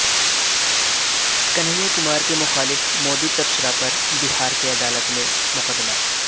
کنہیا کمار کے مخالف مودی تبصرہ پر بہار کی عدالت میں مقدمہ